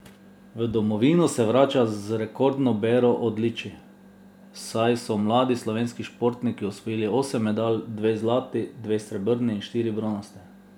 V domovino se vrača z rekordno bero odličij, saj so mladi slovenski športniki osvojili osem medalj, dve zlati, dve srebrni in štiri bronaste.